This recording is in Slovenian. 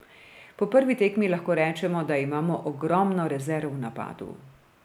Po prvi tekmi lahko rečemo, da imamo ogromno rezerv v napadu.